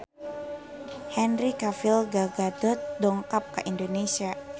Henry Cavill Gal Gadot dongkap ka Indonesia